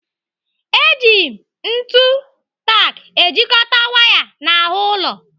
Eji ntu tak ejikọta waya n'ahụ ụlọ.